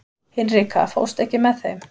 Hinrika, ekki fórstu með þeim?